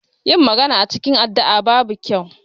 Yin magana a cikin addu'a babu kyau.